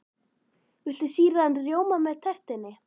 Viltu sýrðan rjóma með tertunni?